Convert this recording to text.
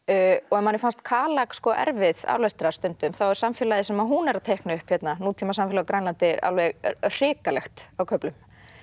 ef manni fannst erfið aflestrar stundum þá er samfélagið sem hún er að teikna upp hérna nútímasamfélag á Grænlandi alveg hrikalegt á köflum